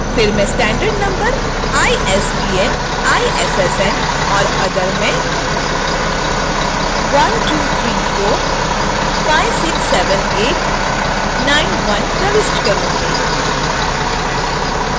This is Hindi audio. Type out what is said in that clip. फिर मैं standard number isbn issn or other में 1234567891 प्रविष्ट करूंगी